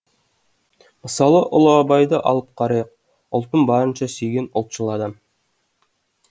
мысалы ұлы абайды алып қарайық ұлтын барынша сүйген ұлтшыл адам